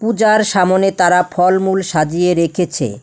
যার সামনে তারা ফলমূল সাজিয়ে রেখেছে।